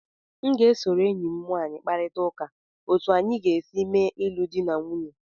M ga-esoro enyi m nwanyị kparịta ụka otu anyị ga-esi mee ịlụ di na nwunye